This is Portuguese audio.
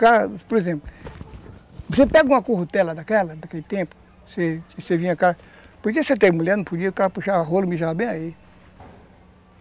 Por exemplo, você pega uma currutela daquela, daquele tempo, você, você vinha com... Porque você tinha mulher, não podia,